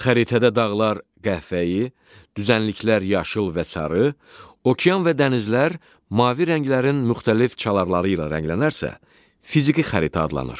Xəritədə dağlar qəhvəyi, düzənliklər yaşıl və sarı, okean və dənizlər mavi rənglərin müxtəlif çalarları ilə rənglənərsə, fiziki xəritə adlanır.